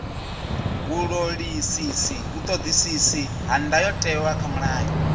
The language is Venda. vhuṱoḓisisi ha ndayotewa kha mulayo